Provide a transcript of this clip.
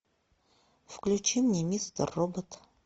включи мне мистер робот